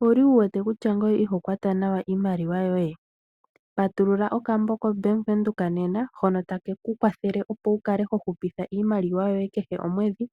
Owuli wuwete kutya ngiye iho kwatwa nawa iimaliwa yoye? Patulula okambo kaBank Windhoek nena hono ho hupitha iimaliwa yoye kehe komwedhi,